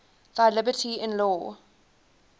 thy liberty in law